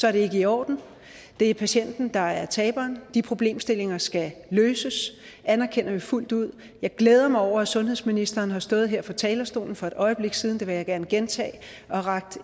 er det ikke i orden det er patienten der er taberen de problemstillinger skal løses det anerkender vi fuldt ud jeg glæder mig over at sundhedsministeren har stået her på talerstolen for et øjeblik siden det vil jeg gerne gentage og rakt